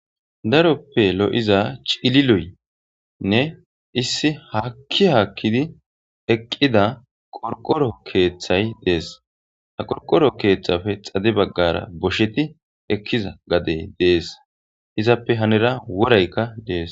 Daroppe lo'iza ciilliloy issi haaki haki eqqida qoriqoro keethtthay dees ha qoriqoro keeththappe xadde baggara goshshetti eekiza keethtthay dees izappe hanira woorayikka dees.